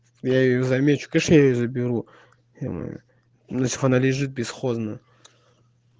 я её замечу конечно я её заберу иначе она лежит бесхозно